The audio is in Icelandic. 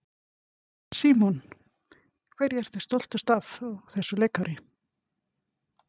Símon: Hverju ertu stoltust af á þessu leikári?